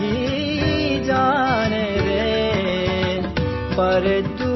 ഗാനം